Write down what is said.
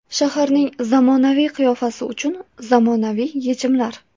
Shaharning zamonaviy qiyofasi uchun zamonaviy yechimlar.